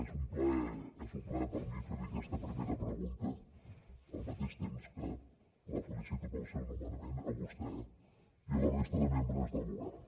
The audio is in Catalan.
és un plaer és un plaer per a mi fer li aquesta primera pregunta al mateix temps que la felicito pel seu nomenament a vostè i a la resta de membres del govern